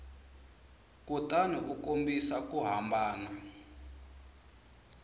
kutani u kombisa ku hambana